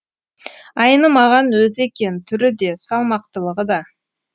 айнымаған өзі екен түрі де салмақтылығы да